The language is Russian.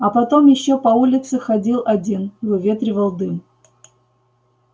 а потом ещё по улице ходил один выветривал дым